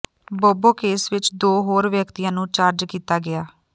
ਬੋਬੋ case ਵਿਚ ਦੋ ਹੋਰ ਵਿਅਕਤੀਆਂ ਨੂੰ ਚਾਰਜ ਕੀਤਾ ਗਿਆ